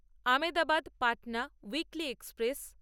Ahmedabad Patna weekly express